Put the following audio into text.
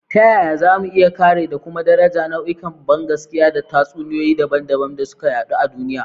Ta yaya za mu iya kāre da kuma daraja nau'ikan bangaskiya da tatsuniyoyi dabam-dabam da suka yaɗu a duniya?